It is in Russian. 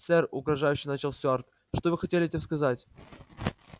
сэр угрожающе начал стюарт что вы хотели этим сказать